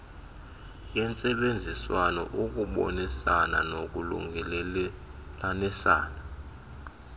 yentsebenziswano ukubonisana nolungelelaniso